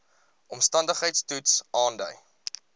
omstandigheids toets aandui